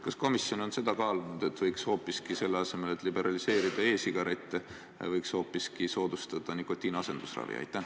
Kas komisjon on kaalunud, et võiks selle asemel, et liberaliseerida e-sigarette, hoopiski kaaluda soodustada nikotiiniasendusravi?